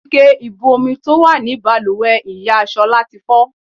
Ike ibú omi sára tó wà ní bàlùwẹ̀ ìyá Ṣọlá tí fọ́.